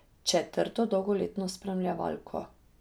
Četrto dolgoletno spremljevalko.